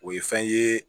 O ye fɛn ye